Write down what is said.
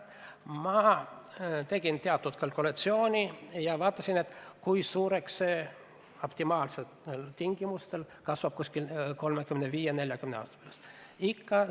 Ma tegin teatud kalkulatsiooni ja vaatasin, kui suureks see summa optimaalsete tingimuste korral kuskil 35–40 aasta pärast kasvaks.